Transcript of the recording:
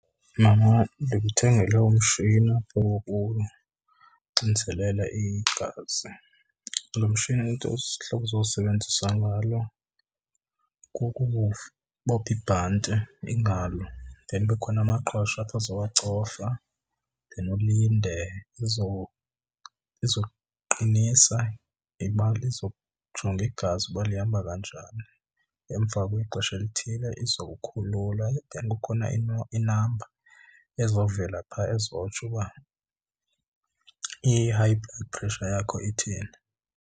Mama, ndikuthengele umshini wokuxinzelela igazi. Loo mshini ihlobo ozowusebenzisa ngalo kukubopha ibhanti ingalo then kube khona amaqhosha apha ozowacofa then ulinde izoqinisa ibale, izojonga igazi uba lihamba kanjani. Emva kwexesha elithile izowukhulula then kukhona inamba ezawuvela phaa ezotsho uba i-high blood pressure yakho ithini.